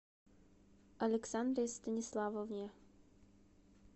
александре станиславовне